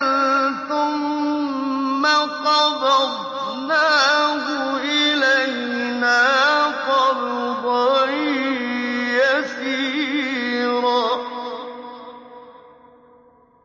ثُمَّ قَبَضْنَاهُ إِلَيْنَا قَبْضًا يَسِيرًا